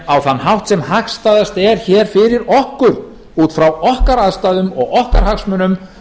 á þann hátt sem hagstæðast er hér fyrir okkur út frá okkar aðstæðum og okkar hagsmunum